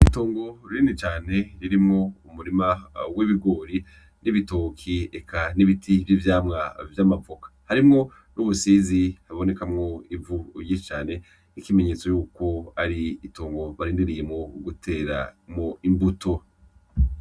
Itongo Rinini Cane Ririmwo Umurima W'Ibigori, N'Ibitoki Eka N'Ibiti Vy'Ivyamwa Vy'Amavoka. Harimwo N'Ubusizi Bubonekamwo Ivu Ryinshi Cane N'Ikimenyetso Yuko Ari Itongo Barindiriyemwo Gutera Mwo Imbuto.